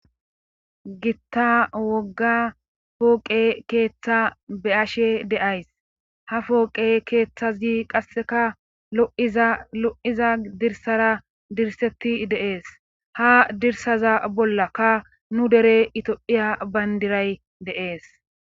Gitta wogga pooqe keeththa be ashe deays ha fooqe keeththazi qasseka lo7iza lo7iza dirsara dirsetti deees ha dirsaza bollakka nu dere itophiya bayndiray deees